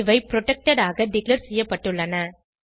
இவை புரொடெக்டட் ஆக டிக்ளேர் செய்யப்பட்டுள்ளன